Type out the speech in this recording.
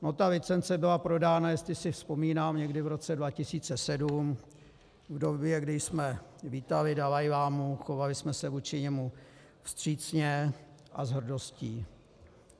No ta licence byla prodána, jestli si vzpomínám, někdy v roce 2007, v době, kdy jsme vítali dalajlámu, chovali jsme se vůči němu vstřícně a s hrdostí.